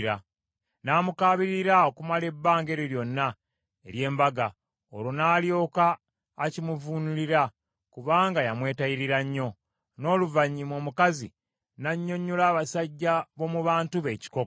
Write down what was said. N’amukaabirira okumala ebbanga eryo lyonna ery’embaga, olwo n’alyoka akimuvuunulira, kubanga yamwetayirira nnyo. N’oluvannyuma omukazi n’annyonnyola abasajja b’omu bantu be ekikokko.